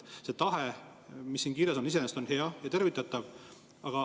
See tahe, mis siin kirjas on, on iseenesest hea ja tervitatav.